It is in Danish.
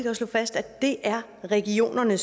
at slå fast at det er regionerne